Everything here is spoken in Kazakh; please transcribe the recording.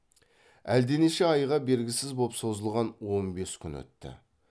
әлденеше айға бергісіз боп созылған он бес күн өтті